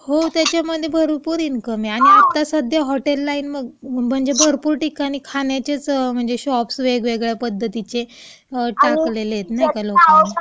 हो, त्याच्यामध्ये भरपूर इन्कम आहे अगं. आणि आत्ता सध्या हॉटेल लाईन म्हणजे भरपूर ठिकाणं खाण्याचेच म्हणजे शॉप्स वेगवेगळ्या पद्धतीचे टाकलेले आहेत, म्हणजे नाही का त्या लोकांनी..